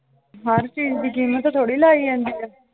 ਹਰ ਚੀਜ਼ ਦੀ ਕੀਮਤ ਥੋੜੀ ਲਾਈ ਜਾਂਦੀ ਆ l